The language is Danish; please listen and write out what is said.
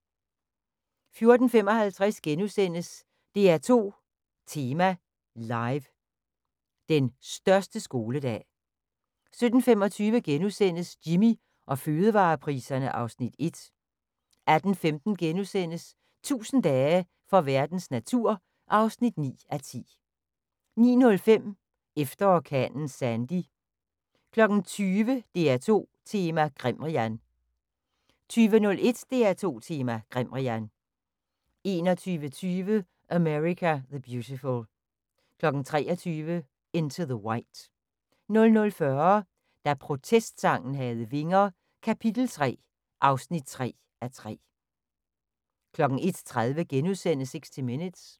14:55: DR2 Tema Live: Den største skoledag * 17:25: Jimmy og fødevarepriserne (Afs. 1)* 18:15: 1000 dage for verdens natur (9:10)* 19:05: Efter orkanen Sandy 20:00: DR2 Tema: Grimrian 20:01: DR2 Tema: Grimrian 21:20: America the Beautiful 23:00: Into the White 00:40: Da protestsangen havde vinger - kap. 3 (3:3) 01:30: 60 Minutes *